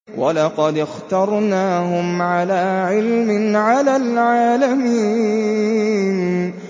وَلَقَدِ اخْتَرْنَاهُمْ عَلَىٰ عِلْمٍ عَلَى الْعَالَمِينَ